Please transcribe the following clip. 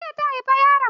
Jiya ta haifi yaron.